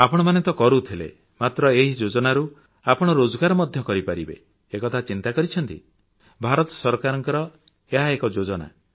ଆପଣମାନେ ତ କରୁଥିଲେ ମାତ୍ର ଏହି ଯୋଜନାରୁ ଆପଣ ରୋଜଗାର ମଧ୍ୟ କରିପାରିବେ ଏକଥା ଚିନ୍ତା କରିଛନ୍ତି କି ଭାରତ ସରକାରଙ୍କ ଏହା ଏକ ଯୋଜନା